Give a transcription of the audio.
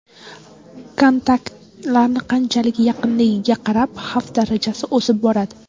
Kontaktlarning qanchalik yaqinligiga qarab xavf darajasi o‘sib boradi.